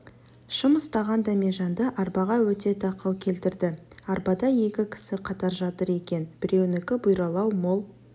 шам ұстаған дәмежанды арбаға өте тақау келтірді арбада екі кісі қатар жатыр екен біреуінікі бұйралау мол